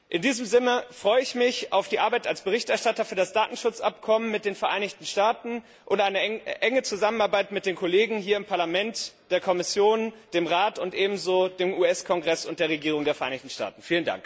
In diesem Sinne freue ich mich auf die Arbeit als Berichterstatter für das Datenschutzabkommen mit den Vereinigten Staaten und eine enge Zusammenarbeit mit den Kollegen hier im Parlament, der Kommission, dem Rat und ebenso mit dem US Kongress und der Regierung der Vereinigten Staaten.